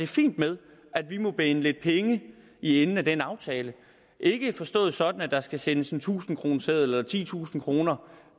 fint med at vi må binde lidt penge i enden af den aftale ikke forstået sådan at der skal sendes en tusindkroneseddel eller titusind kroner